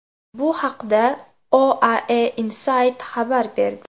Bu haqda OAEInside xabar berdi .